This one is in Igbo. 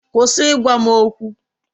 Kwụsị ịgwa m okwu!